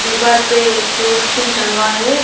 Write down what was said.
दीवार पे दो स्किन टंगा है।